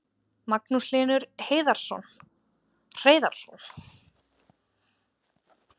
Magnús Hlynur Hreiðarsson: Hvaða möguleikar eru í stöðunni núna að auka við?